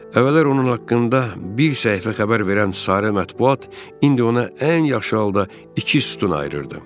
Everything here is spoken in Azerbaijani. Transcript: Əvvəllər onun haqqında bir səhifə xəbər verən sarı mətbuat indi ona ən yaxşı halda iki sütun ayırırdı.